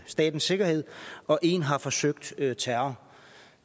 statens sikkerhed og en har forsøgt at begå terror